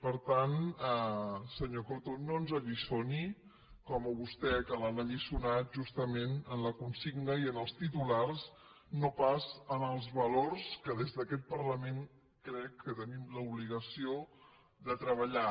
per tant senyor coto no ens alliçoni com a vostè que l’han alliçonat justament en la consigna i en els titulars no pas en els valors que des d’aquest parlament crec que tenim l’obligació de treballar